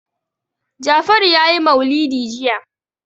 Jafaru ya yi maulidi jiya.